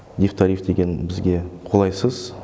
дифтариф деген бізге қолайсыз